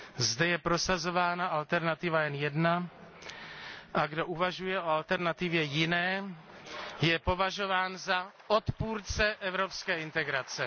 Zde je prosazována alternativa jen jedna a kdo uvažuje o alternativě jiné, je považován za odpůrce evropské integrace.